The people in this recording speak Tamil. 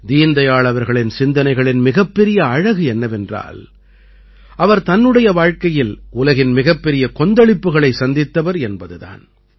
தீன்தயாள் அவர்களின் சிந்தனைகளின் மிகப்பெரிய அழகு என்னவென்றால் அவர் தன்னுடைய வாழ்க்கையில் உலகின் மிகப்பெரிய கொந்தளிப்புக்களைச் சந்தித்தவர் என்பது தான்